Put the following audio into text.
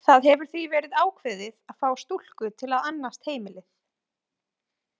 Það hefur því verið ákveðið að fá stúlku til að annast heimilið.